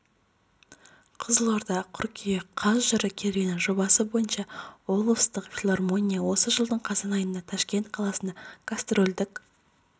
қызылорда қыркүйек қаз жыр керуені жобасы бойынша облыстық филармония осы жылдың қазан айында ташкент қаласында гастрольдік